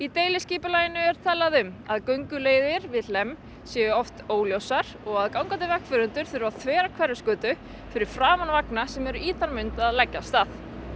deiliskipulaginu er talað um að gönguleiðir við Hlemm séu oft óljósar og gangandi vegfarendur þurfi að þvera Hverfisgötu fyrir framan vagna sem eru í þann mund að leggja af stað